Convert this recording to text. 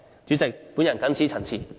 主席，我謹此陳辭。